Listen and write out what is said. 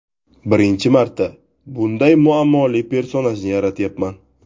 Birinchi marta bunday muammoli personajni yaratyapman.